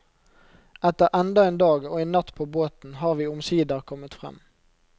Etter enda en dag og en natt på båten, har vi omsider kommet frem.